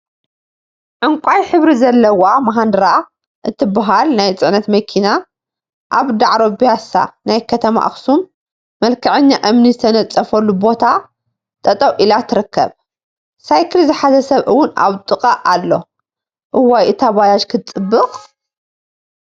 ዕንቋይ ሕብሪ ዘለዋ ማሃንዱራ እትበሃል ናይ ፅዕነት መኪና አብ ዳዕሮ ቢያሳ ናይ ከተማ አክሱም መልከዐኛ እምኒ ዝተነፀፎ ቦታ ጠጠው ኢላ ትርከብ፡፡ ሰይክል ዝሓዘ ሰብ እውን አብ ጥቅአ አሎ፡፡ እዋይ እታ ባጃጅ ክትፅብቅ፡፡